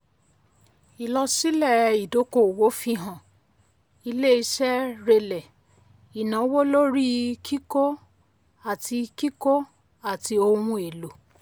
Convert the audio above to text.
ìlọsílẹ̀ ìdọ́kowọ̀ fihàn ilé iṣé rẹlẹ̀ ìnáwó lórí kíkó àti kíkó àti ohun èlò.